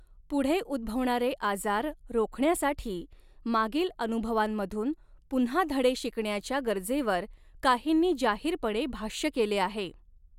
पुढे उद्भवणारे आजार रोखण्यासाठी मागील अनुभवांमधून पुन्हा धडे शिकण्याच्या गरजेवर काहींनी जाहीरपणे भाष्य केले आहे.